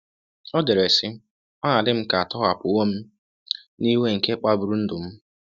O dere, sị: “Ọ na-adị m ka a tọhapụwo m n'iwe nke kpagburu ndụ m.